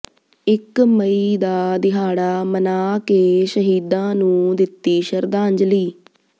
ਇਕ ਮਈ ਦਾ ਦਿਹਾੜਾ ਮਨਾ ਕੇ ਸ਼ਹੀਦਾਂ ਨੰੂ ਦਿੱਤੀ ਸ਼ਰਧਾਂਜਲੀ